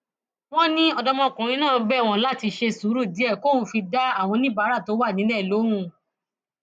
wọn ní ọdọmọkùnrin náà bẹ wọn láti ṣe sùúrù díẹ kóun fi dá àwọn oníbàárà tó wà nílẹ lóhùn